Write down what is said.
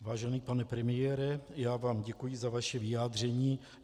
Vážený pane premiére, já vám děkuji za vaše vyjádření.